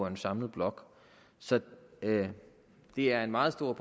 en samlet blok så det er en meget stor